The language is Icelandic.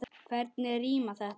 Hvernig rímar þetta?